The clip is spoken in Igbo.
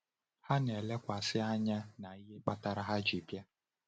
Ha na-elekwasị anya na ihe kpatara ha ji bịa.